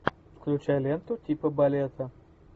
включай ленту типа балета